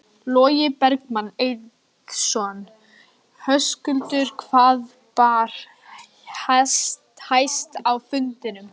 Logi Bergmann Eiðsson: Höskuldur hvað bar hæst á fundinum?